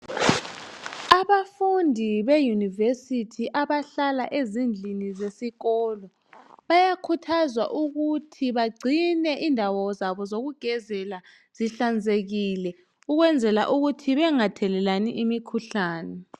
Abafundi beyunivesithi abahlala ezindlini zesikolo bayakhuthazwa ukuthi bagcine indawo zabo zokugezela zihlanzekile ukwenzela ukuthi bengathelelani imikhuhlane.